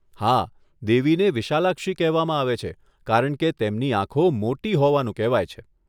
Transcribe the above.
હા, દેવીને વિશાલાક્ષી કહેવામાં આવે છે કારણ કે તેમની આંખો મોટી હોવાનું કહેવાય છે.